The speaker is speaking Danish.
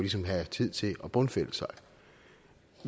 have tid til at bundfælde sig